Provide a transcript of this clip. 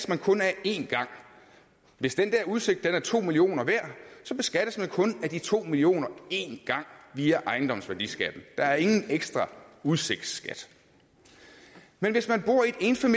man kun af én gang hvis den der udsigt er to millioner værd så beskattes man kun af de to millioner én gang via ejendomsværdiskatten der er ingen ekstra udsigtsskat men hvis man bor